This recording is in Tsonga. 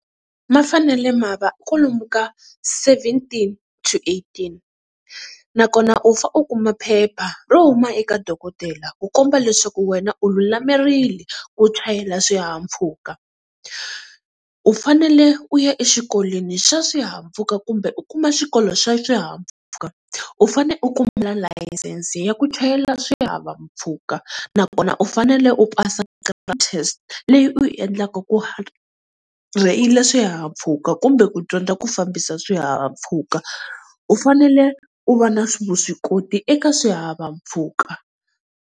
Ma fanele ma va kolomu ka seventeen to eighteen, nakona u fa u kuma phepha ro huma eka dokodela ku komba leswaku wena u lulamerile ku chayela swihahampfhuka. U fanele u ya exikolweni xa swihahampfhuka kumbe u kuma xikolo xa swihahampfhuka, u fanele u kuma layisense ya ku chayela swihahampfhuka. Nakona u fanele u pasa test leyi u yi endlaka ku rheyila swihahampfhuka kumbe ku dyondza ku fambisa swihahampfhukaU u fanele u va na vuswikoti eka swihahampfhuka.